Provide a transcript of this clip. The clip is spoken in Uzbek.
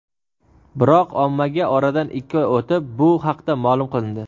biroq ommaga oradan ikki oy o‘tib bu haqda ma’lum qilindi.